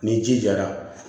Ni ji jara